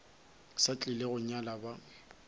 sa tlile go nyala ba